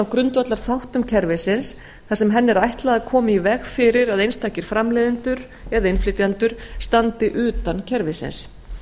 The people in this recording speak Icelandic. grundvallarþáttum kerfisins þar sem henni er ætlað að koma í veg fyrir að einstakir framleiðendur eða innflytjendur standi utan kerfisins